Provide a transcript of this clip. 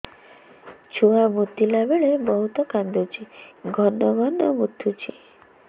ଛୁଆ ମୁତିଲା ବେଳେ ବହୁତ କାନ୍ଦୁଛି ଘନ ଘନ ମୁତୁଛି